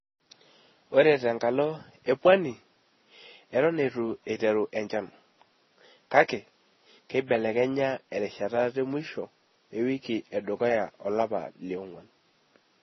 Ore te nkalo e Pwani, eeton eitu eiteru enchan, kake keibelekenya erishata te musho ewiki e dukuya olapa le ong`uan.